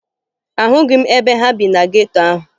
Ahụghị m ebe ha bi na geto ahụ